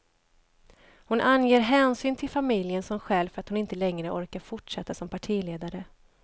Hon anger hänsyn till familjen som skäl för att hon inte längre orkar fortsätta som partiledare.